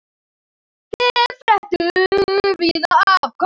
Þeir fréttu víða af Kolli.